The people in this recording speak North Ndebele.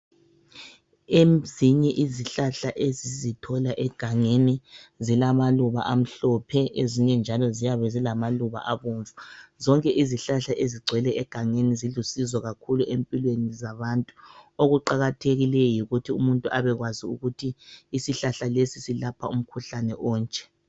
Emzinye izihlahla esizithola egangeni zilamaluba amhlophe, ezinye njalo ziyabe zilamaluba abomvu. Zonke izihlahla ezigcwele egangeni zilusizo kakhulu empilweni zabantu. Okuqakathekileyo yikuthi umuntu abekwazi ukuthi isihlahla lesi silapha umkhuhlane onje.